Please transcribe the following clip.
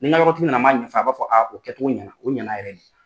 Ni n ka yɔrɔ tigi na na n b'a ɲɛf'a ye a b'a fɔ kɛcogo ɲɛna o ɲɛna yɛrɛ de.